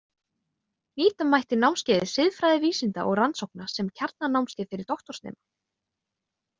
Nýta mætti námskeiðið Siðfræði vísinda og rannsókna sem kjarnanámskeið fyrir doktorsnema.